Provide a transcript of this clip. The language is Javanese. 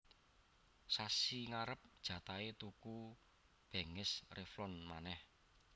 Sasi ngarep jatahe tuku benges Revlon maneh